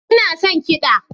Ina son kiɗa